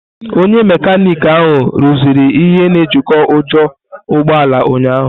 Onye mekaniki ahụ rụziri ihe na ejiko ujo ụgbọ ala ụnyahụ.